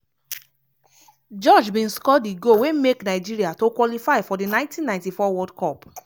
george bin score di goal wey make nigeria to qualify for di 1994 world cup.